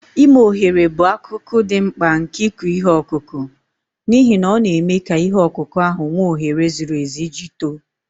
Ime ohere bụ akụkụ dị mkpa nke ịkụ ihe ọkụkụ, n'ihi na ọ na-eme ka ihe ọkụkụ ahụ nwee ohere zuru ezu iji too.